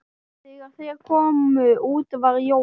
Þegar þeir komu út var Jón